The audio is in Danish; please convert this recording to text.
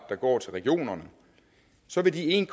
der går til regionerne så vil de en